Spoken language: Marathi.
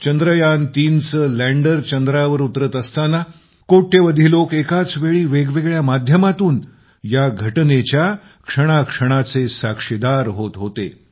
चंद्रयान3चे लँडर चंद्रावर उतरत असताना कोट्यवधी लोक एकाच वेळी वेगवेगळ्या माध्यमातून या घटनेच्या क्षणाक्षणाचे साक्षीदार होत होते